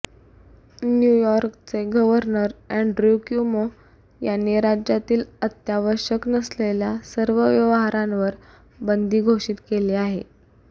new यॉर्कचे governor Andrew Cuomo यांनी राज्यातील अत्यावश्यक नसलेल्या सर्व व्यवहारांवर बंदी घोषित केली आहे